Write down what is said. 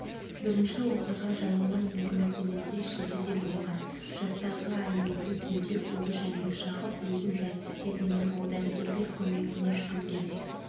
бірінші оқиға жайылма елді мекенінде шілдеде болған жастағы әйелді түнде улы жәндік шағып өзін жайсыз сезінген ол дәрігерлер көмегіне жүгінген